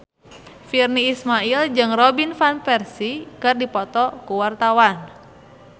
Virnie Ismail jeung Robin Van Persie keur dipoto ku wartawan